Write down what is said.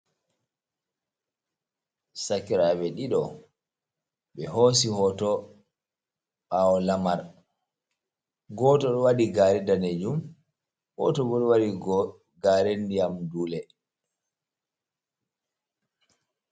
Sakirabe ɗiɗo be hosi hoto ɓawo lamar goto wadi gare danejum goto bo ɗo wadi gare ndiyam dule.